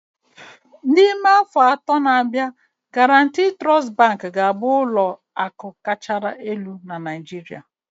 N'ime afọ atọ na-abịa, Guaranty Trust Bank ga-abụ ụlọ akụ kacha elu na Naijiria